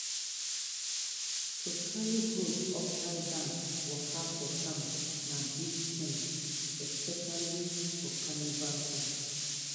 to carry goat upside-down waka for town na big shame especially for carnival time